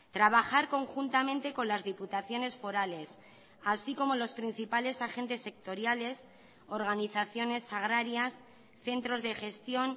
trabajar conjuntamente con las diputaciones forales así como los principales agentes sectoriales organizaciones agrarias centros de gestión